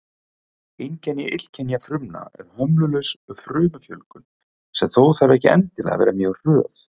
Einkenni illkynja frumna er hömlulaus frumufjölgun, sem þó þarf ekki endilega að vera mjög hröð.